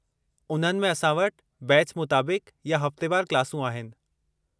उन्हनि में असां वटि बैच मुताबिक़ या हफ़्तेवारु क्लासूं आहिनि।